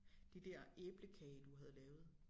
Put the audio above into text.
Det der æblekage du havde lavet